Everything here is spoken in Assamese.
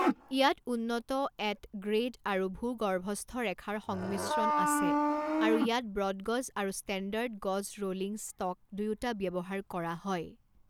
ইয়াত উন্নত এট গ্ৰেড আৰু ভূগৰ্ভস্থ ৰেখাৰ সংমিশ্ৰণ আছে আৰু ইয়াত ব্ৰডগজ আৰু ষ্টেণ্ডাৰ্ড গজ ৰোলিং ষ্টক দুয়োটা ব্যৱহাৰ কৰা হয়।